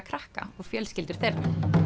krakka og fjölskyldur þeirra